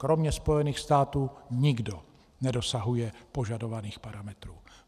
Kromě Spojených států nikdo nedosahuje požadovaných parametrů.